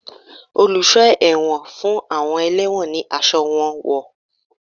Oluso ẹwọ́n fun awọn ẹlewọ́n ní aṣọ ẹwọ́n wón.